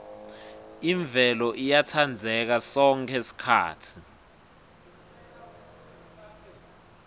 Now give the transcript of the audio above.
imvelo iyatsandzeka sonkhe sikhatsi